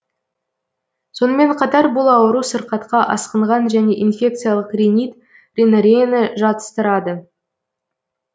сонымен қатар бұл ауру сырқатқа асқынған және инфекциялық ринит ринореяны жатыстырады